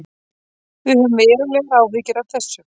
Við höfum verulegar áhyggjur af þessu